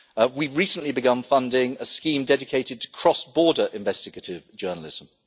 We have recently begun funding a scheme dedicated cross border investigative journalism.